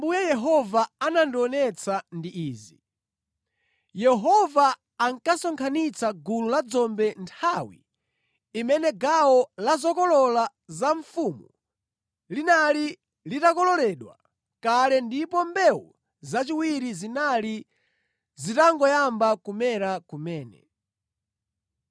Zimene Ambuye Yehova anandionetsa ndi izi: Yehova ankasonkhanitsa gulu la dzombe nthawi imene gawo la zokolola za mfumu linali litakololedwa kale ndipo mbewu zachiwiri zinali zitangoyamba kumera kumene.